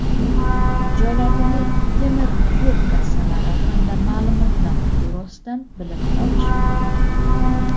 joylardagi temir yo‘l kassalari hamda ma’lumotlar byurosidan bilib olish mumkin.